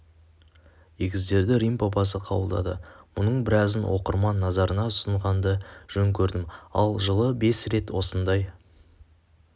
егіздерді рим папасы қабылдады мұның біразын оқырман назарына ұсынғанды жөн көрдім ал жылы бес рет осындай